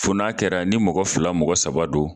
Fo n'a kɛra ni mɔgɔ fila mɔgɔ saba don